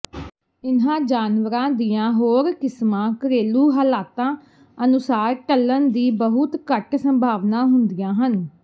ਇਨ੍ਹਾਂ ਜਾਨਵਰਾਂ ਦੀਆਂ ਹੋਰ ਕਿਸਮਾਂ ਘਰੇਲੂ ਹਾਲਾਤਾਂ ਅਨੁਸਾਰ ਢਲਣ ਦੀ ਬਹੁਤ ਘੱਟ ਸੰਭਾਵਨਾ ਹੁੰਦੀਆਂ ਹਨ